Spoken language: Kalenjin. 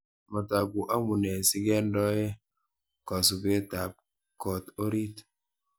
Matoku amunee sikendoe kosubetab kot orit